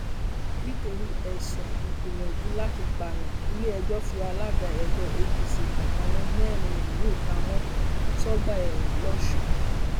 nítorí ẹsùn ìgbìyànjú láti pààyàn iléẹjọ fi alága ẹgbẹ apc àtàwọn mẹrin miín pamọ sọgbá ẹwọn lọsùn